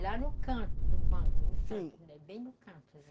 Lá no canto do banco, no canto, sim, bem no canto.